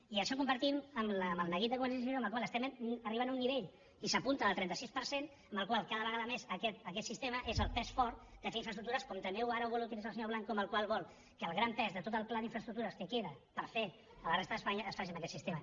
i això ho compartim amb el neguit de convergència i unió amb el qual estem arribant a un nivell i s’apunta del trenta sis per cent en què cada vegada més aquest sistema és el pes fort de fer infraestructures com també ara ho vol utilitzar el senyor blanco que vol que el gran pes de tot el pla d’infraestructures que queda per fer a la resta d’espanya es faci amb aquest sistema